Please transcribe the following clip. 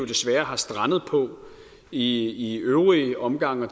desværre er strandet på i øvrige omgange